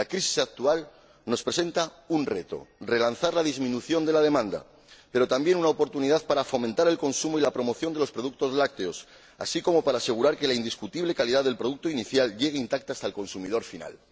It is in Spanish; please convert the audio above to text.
La crisis actual nos plantea un reto, relanzar la disminución de la demanda, pero también una oportunidad para fomentar el consumo y la promoción de los productos lácteos, así como para asegurar que la indiscutible calidad del producto inicial llegue intacta hasta el consumidor final.